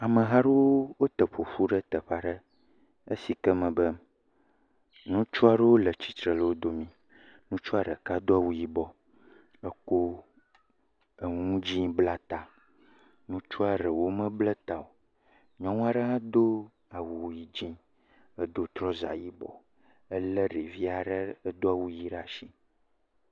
Ameha aɖewo te ƒoƒu ɖe teƒe aɖe, esi ke mebe ŋutsu aɖewo le tsitre le wo domi, ŋutsua ɖeka do awu yibɔ, ekɔ enu dzɛ̃ bla ta, ŋutsua ɖewo mabla ta o. Nyɔnua ɖewo do awu yi.., dzɔ̃ edo trɔza yibɔ elé ɖevi aɖe si do awu ʋi ɖe asi